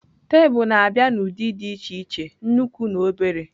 Tebụl na-abịa n'ụdị dị iche iche, nnukwu na obere.